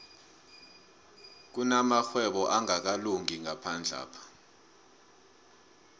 kunamarhwebo angakalungi ngaphandlapha